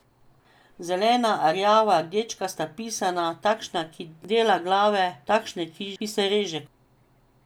Zelena, rjava, rdečkasta, pisana, takšna, ki dela glave, takšna, ki se reže.